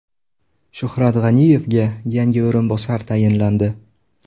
Shuhrat G‘aniyevga yangi o‘rinbosar tayinlandi.